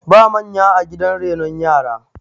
ba manya a gidan renon yara